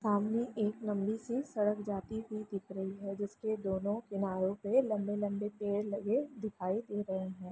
सामने एक लम्बी सी सड़क जाती हुई दिख रही है जिसके दोनों किनारों पे लंबे-लंबे पेड़ लगे दिखाई दे रहे हैं।